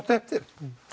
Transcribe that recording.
eftir